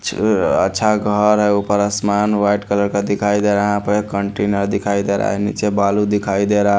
छ अ अच्छा घर है ऊपर असमान व्हाइट कलर का दिखाई दे रहा है यहां प कंटेनर दिखाई दे रहा है नीचे बालू दिखाई दे रहा--